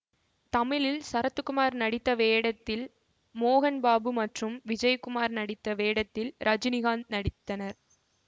தமிழில் சரத்குமார் நடித்த வேடத்தில் மோகன்பாபு மற்றும் விஜயகுமார் நடித்த வேடத்தில் ரஜினிகாந்த் நடித்தனர்